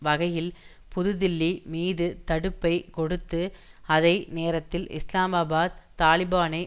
வகையில் புது தில்லி மீது தடுப்பை கொடுத்து அதை நேரத்தில் இஸ்லாமாபாத் தாலிபானை